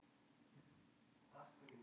Vinstri-hægri á Íslandi